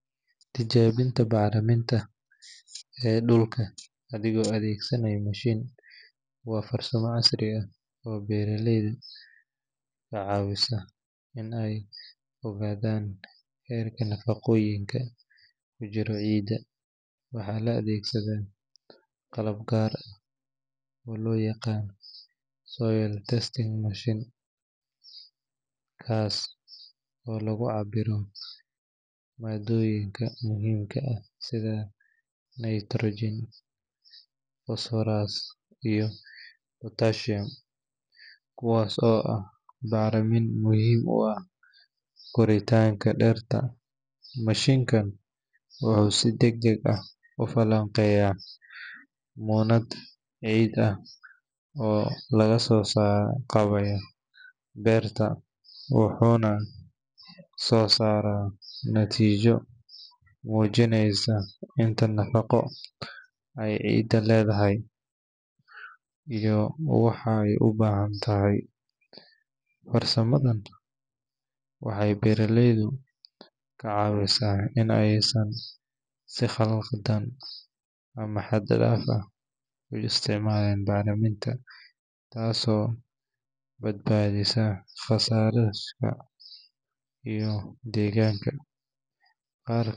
Tijaabinta bacriminta ee dhulka adigoo adeegsanaya mashiin waa farsamo casri ah oo beeraleyda ka caawisa in ay ogaadaan heerka nafaqooyinka ku jira ciidda. Waxaa la adeegsadaa qalab gaar ah oo loo yaqaan soil testing machine, kaas oo lagu cabbiro maaddooyinka muhiimka ah sida nitrogen, phosphorus, iyo potassium, kuwaas oo ah bacrimin muhiim u ah koritaanka dhirta. Mashiinkan wuxuu si degdeg ah u falanqeeyaa muunad ciid ah oo laga soo qaaday beerta, wuxuuna soo saaraa natiijo muujinaysa inta nafaqo ay ciidu leedahay iyo waxa ay u baahan tahay. Farsamadan waxay beeraleyda ka caawisaa in aysan si khaldan ama xad-dhaaf ah u isticmaalin bacriminta, taas oo badbaadisa kharashaadka iyo deegaanka.